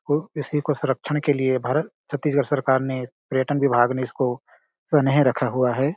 तो इसी को संरक्षण के लिए भारत छत्तीसगढ़ सरकार ने पर्यटन विभाग ने इसको सनेह रखा हुआ हैं ।